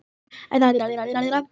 Þarf engan að undra það.